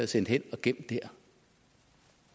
sendt hen og gemt dér